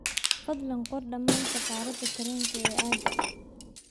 fadlan qor dhammaan safarrada tareenka ee aagga a